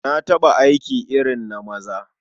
Na taɓa aiki irin na maza.